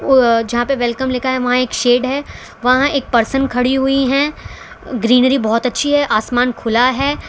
उव जहा पे वेलकम लिखा है वहा एक शेड है वहां एक परसन खड़ी हुई है ग्रीनरी बहोत अच्छी है आसमान खुला है।